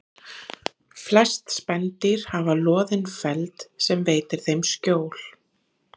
Flest spendýr hafa loðinn feld sem veitir þeim skjól.